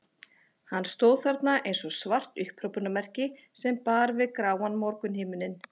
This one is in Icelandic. Hann stóð þarna eins og svart upphrópunarmerki sem bar við gráan morgunhimininn.